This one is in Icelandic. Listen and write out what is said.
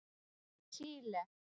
Síle